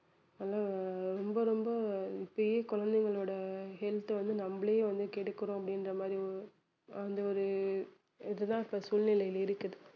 அதெல்லாம் ரொம்ப ரொம்ப இப்பயே குழந்தைகளோட health வந்து நம்மளே வந்து கெடுக்கிறோம் அப்படின்ற மாதிரி ஒ~ அந்த ஒரு இது தான் இப்ப சூழ்நிலைகள் இருக்குது